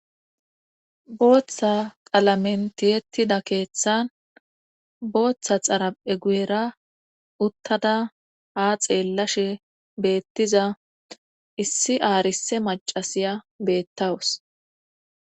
booththa qalamentiyettida keeththan booththa xara7e guera uttada ha xeellashe beettiza issi aarise macasiya beettawus